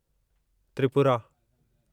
Tripura